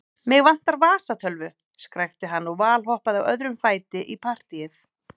Mig vantar vasatölvu, skrækti hann og valhoppaði á öðrum fæti í partýið.